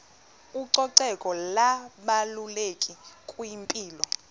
ucoceko lubalulekile kwimpilo